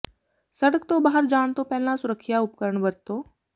ਸੜਕ ਤੋਂ ਬਾਹਰ ਜਾਣ ਤੋਂ ਪਹਿਲਾਂ ਸੁਰੱਖਿਆ ਉਪਕਰਨ ਵਰਤੋ